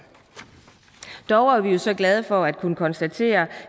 dog er vi jo så glade for at kunne konstatere